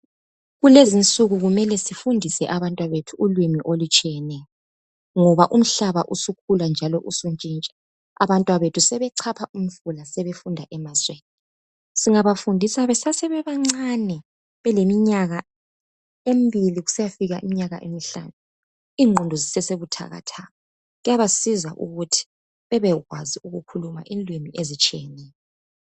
Kulezinsu kukumele sifundise abantwabethu ulimi olutshiyeneyo ngoba umhlaba usukhula njalo usuntshintsha abantwabethu sebechapha umfula sebefumda emazweni singabafundisa besasebebancane beleminyaka embili kusiyafika kumnyaka emihlanu ingqondo zisesebuthakathaka kuyabasiza ukuthi bebekwazi ukukhuluma inlimi ezitshiyeneyo.